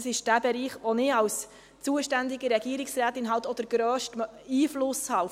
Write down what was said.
Es ist der Bereich, auf den ich als zuständige Regierungsrätin einen grossen Einfluss habe.